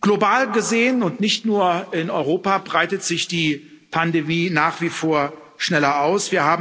Global gesehen, und nicht nur in Europa, breitet sich die Pandemie nach wie vor schneller aus.